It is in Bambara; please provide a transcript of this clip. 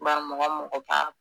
Bari mɔgɔ mɔgɔ b'a.